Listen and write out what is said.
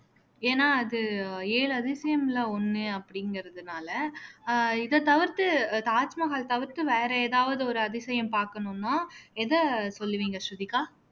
ஏன்னா அது ஏழு அதிசயம்ல ஒண்ணு அப்படிங்கிறதுனால ஆஹ் இதை தவிர்த்து அஹ் தாஜ்மஹால் தவிர்த்து வேற எதாவது ஒரு அதிசயம் பார்க்கணும்னா எதை சொல்லுவீங்க ஸ்ருதிகா